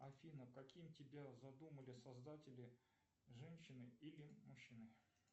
афина каким тебя задумали создатели женщиной или мужчиной